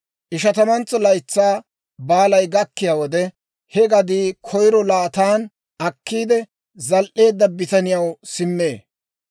Ishatamantso Laytsaa Baalay gakkiyaa wode, he gadii koyiro laatan akkiide zal"eedda bitaniyaw simmee.